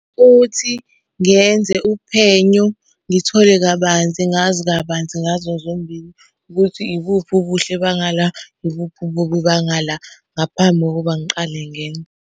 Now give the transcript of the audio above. Futhi ngenze uphenyo ngithole kabanzi ngazi kabanzi ngazo zombili ukuthi ibuphi ubuhle banga la, ibuphi ububi banga la. Ngaphambi kokuba ngiqale ngenye.